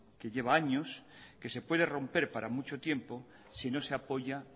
que lleva años que se puede romper para mucho tiempo si no se apoya